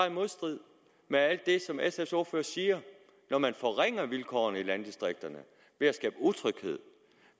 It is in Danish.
i modstrid med alt det som sfs ordfører siger når man forringer vilkårene i landdistrikterne ved at skabe utryghed og